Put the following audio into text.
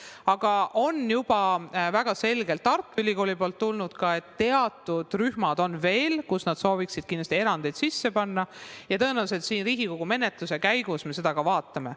Aga Tartu Ülikoolilt on tulnud juba väga selge soov, et on veel teatud rühmad, kus nad kindlasti sooviksid erandeid teha, ja tõenäoliselt siin Riigikogu menetluse käigus me seda teemat ka vaatame.